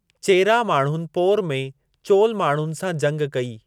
चेरा माण्हुनि पोर में चोल माण्हुनि सां जंग कई।